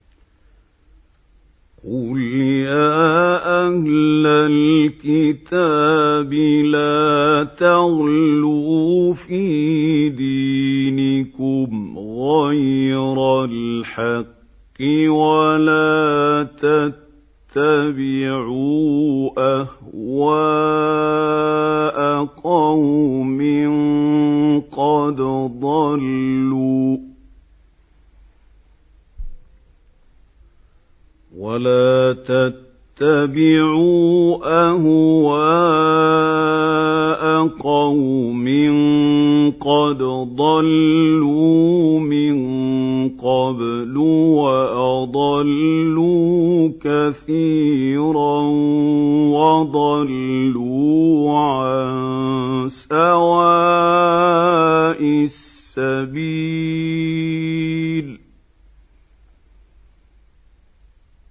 قُلْ يَا أَهْلَ الْكِتَابِ لَا تَغْلُوا فِي دِينِكُمْ غَيْرَ الْحَقِّ وَلَا تَتَّبِعُوا أَهْوَاءَ قَوْمٍ قَدْ ضَلُّوا مِن قَبْلُ وَأَضَلُّوا كَثِيرًا وَضَلُّوا عَن سَوَاءِ السَّبِيلِ